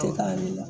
Tɛ k'a yir'i la